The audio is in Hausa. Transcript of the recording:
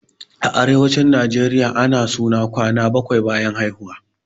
A arewacin najeriya ana suna kwana bakwai bayan haihuwa